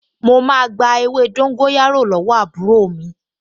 Mo máa gba ewé dóńgóyárò lọ́wọ́ àbúrò mi